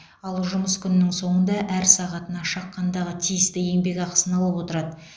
ал жұмыс күнінің соңында әр сағатына шаққандағы тиісті еңбекақысын алып отырады